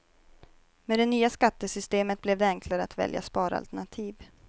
Med det nya skattesystemet blev det enklare att välja sparalternativ.